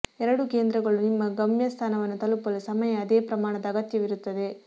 ಎರಡೂ ಕೇಂದ್ರಗಳು ನಿಮ್ಮ ಗಮ್ಯಸ್ಥಾನವನ್ನು ತಲುಪಲು ಸಮಯ ಅದೇ ಪ್ರಮಾಣದ ಅಗತ್ಯವಿರುತ್ತದೆ